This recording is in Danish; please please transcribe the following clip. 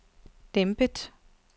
dæmpet